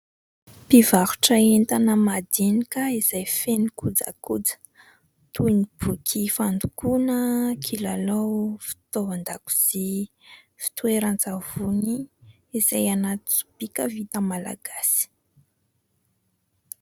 Mpivarotra entana madinika izay feno kojakoja toy ny boky fandokoana, kilalao fitaovan-dakozia, fitoeran-tsavony izay anaty sobika vita malagasy.